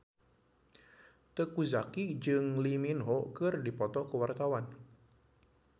Teuku Zacky jeung Lee Min Ho keur dipoto ku wartawan